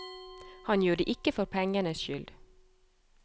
Han gjør det ikke for pengenes skyld.